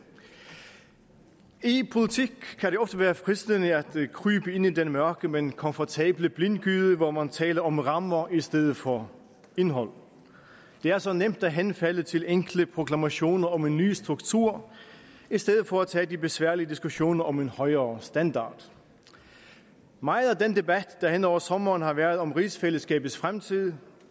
i politik kan det ofte være fristende at krybe ind i den mørke men komfortable blindgyde hvor man taler om rammer i stedet for indhold det er så nemt at henfalde til enkle proklamationer om en ny struktur i stedet for at tage de besværlige diskussioner om en højere standard meget af den debat der hen over sommeren har været om rigsfællesskabets fremtid